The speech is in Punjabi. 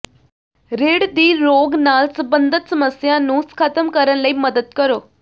ਰੀੜ੍ਹ ਦੀ ਰੋਗ ਨਾਲ ਸਬੰਧਤ ਸਮੱਸਿਆ ਨੂੰ ਖਤਮ ਕਰਨ ਲਈ ਮਦਦ ਕਰੋ